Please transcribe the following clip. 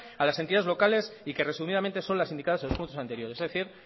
a las entidades locales y que resumidamente son las indicadas en los puntos anteriores es decir